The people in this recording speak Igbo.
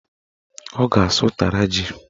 Ọ ga-asụ ụtara ji